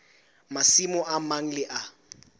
masimo a mang le a